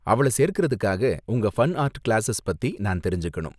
அவள சேர்க்கிறதுக்காக உங்க ஃபன் ஆர்ட் கிளாஸஸ் பத்தி நான் தெரிஞ்சுக்கணும்.